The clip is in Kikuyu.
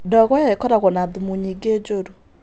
Ndogo ĩyo ĩkoragwo na thumu nyingĩ njũru.